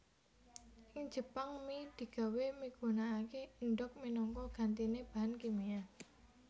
Ing Jepang mi digawé migunakaké endhog minangka gantiné bahan kimia